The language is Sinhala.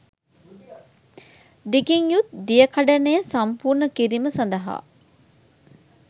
දිගින් යුත් දියකඩනය සම්පූර්ණ කිරීම සඳහා